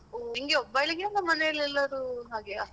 ಓಹ್ ನಿಂಗೆ ಒಬ್ಬಳಿಗಾ ಅಲ್ಲಾ ಮನೆಲೆಲ್ಲರೂ ಹಾಗೆಯಾ?